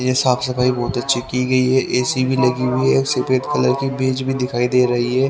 ये साफ सफाई बहोत अच्छी की गई है ए_सी भी लगी हुई है सफेद कलर की मेज भी दिखाई दे रही है।